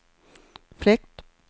fläkt